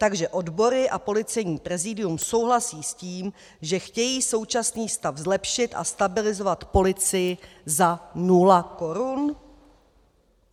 Takže odbory a Policejní prezidium souhlasí s tím, že chtějí současný stav zlepšit a stabilizovat policii za nula korun?